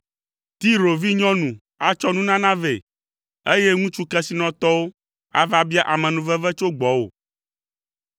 Tiro vinyɔnu atsɔ nunana vɛ, eye ŋutsu kesinɔtɔwo ava bia amenuveve tso gbɔwò.